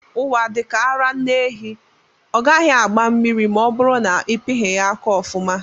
Ụwa dika ara nne ehi, ọ gaghị agba mmiri ma ọ bụrụ na ịpighi ya aka ọfuma.